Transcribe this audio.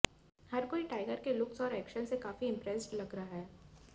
हर कोई टाइगर के लुक्स और एक्शन से काफी इंप्रेस्ट लग रहा है